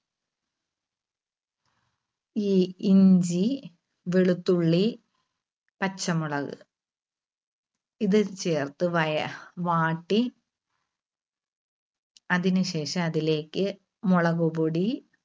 ഈ ഇഞ്ചി, വെളുത്തുള്ളി, പച്ചമുളക് ഇത് ചേർത്ത് വയ വാട്ടി അതിന് ശേഷം അതിലേക്ക് മുളകുപൊടി,